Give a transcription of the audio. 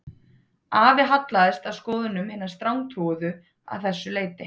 Afi hallaðist að skoðunum hinna strangtrúuðu að þessu leyti